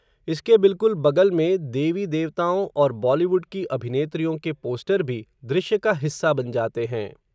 इसके बिल्कुल बगल में, देवी देवताओं, और बॉलीवुड की अभिनेत्रियों के पोस्टर भी, दृश्य का हिस्सा बन जाते हैं